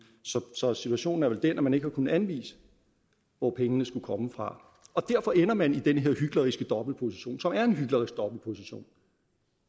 så situationen er vel den at man ikke har kunnet anvise hvor pengene skulle komme fra og derfor ender man i den her hykleriske dobbeltposition som er en hyklerisk dobbeltopposition